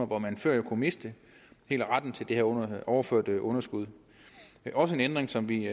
hvor man før kunne miste hele retten til at overføre underskuddet det er også en ændring som vi